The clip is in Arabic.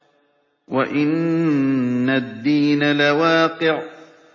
وَإِنَّ الدِّينَ لَوَاقِعٌ